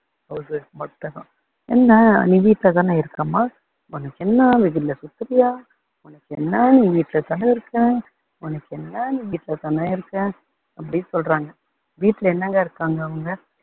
என்ன நீ வீட்டுல தானே இருக்கம்மா உனக்கு என்ன வெயில்ல சுத்துறியா உனக்கு என்ன நீ வீட்டுல தானே இருக்க உனக்கு என்ன நீ வீட்டுல தானே இருக்க அப்படி சொல்றாங்க. வீட்டுல என்னாங்க இருக்காங்க அவங்க